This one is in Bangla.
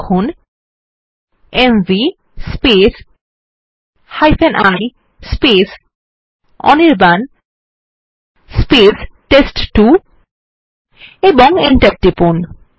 লিখুন mv ই অনির্বাণ টেস্ট2 এবং Enter টিপুন